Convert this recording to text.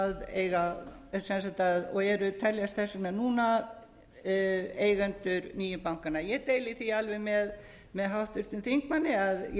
eiga sem sagt að og teljast þess vegna núna eigendur nýju bankanna ég deili því alveg með háttvirtum þingmanni að ég